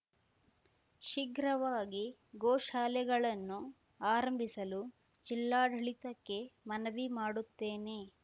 ಶೀಘ್ರವಾಗಿ ಗೋಶಾಲೆಗಳನ್ನು ಆರಂಭಿಸಲು ಜಿಲ್ಲಾಡಳಿತಕ್ಕೆ ಮನವಿ ಮಾಡುತ್ತೇನೆ